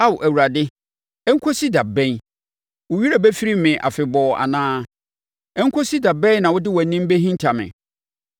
Ao, Awurade, ɛnkɔsi da bɛn? Wo werɛ bɛfiri me afebɔɔ anaa? Ɛnkɔsi da bɛn na wode wʼanim bɛhinta me?